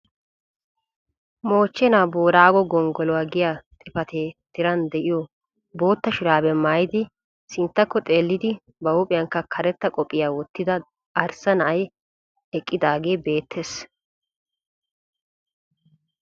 Moochchena Booraago gonggoluwa giya xifatee tiran de'iyo bootta shurabiya maayyidi sinttakko xeellidi ba huuphiyankka karetta qophiya wottida arissa na'ay eqqidaage beettees.